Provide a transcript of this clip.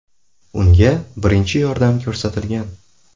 Unga birinchi yordam ko‘rsatilgan.